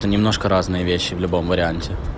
то немножко разные вещи в любом варианте